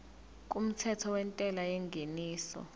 kumthetho wentela yengeniso